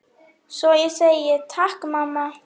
Svo ég segi: Takk mamma.